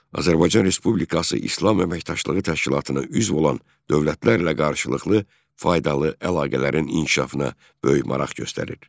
Azərbaycan Respublikası İslam Əməkdaşlığı Təşkilatına üzv olan dövlətlərlə qarşılıqlı faydalı əlaqələrin inkişafına böyük maraq göstərir.